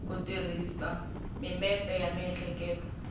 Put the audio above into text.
ku tirhisa mimepe ya miehleketo